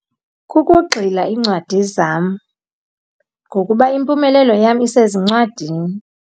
Kukugxila incwadi zam, ngokuba impumelelo yam isezincwadini.